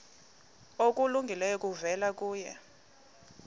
okulungileyo kuvela kuye